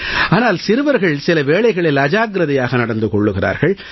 ஆனால் சிறுவர்கள் சில வேளைகளில் அஜாக்கிரதையாக நடந்து கொள்கிறார்கள்